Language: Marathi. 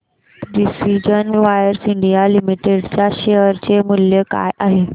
आज प्रिसीजन वायर्स इंडिया लिमिटेड च्या शेअर चे मूल्य काय आहे